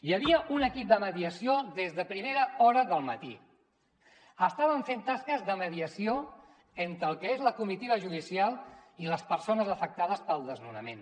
hi havia un equip de mediació des de primera hora del matí estaven fent tasques de mediació entre el que és la comitiva judicial i les persones afectades pel desnonament